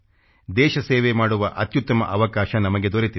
ದೇಶ ಸೇವೆ ಮಾಡುವ ಅತ್ಯುತ್ತಮ ಅವಕಾಶ ನಮಗೆ ದೊರೆತಿದೆ